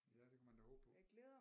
Ja det kunne man da håbe på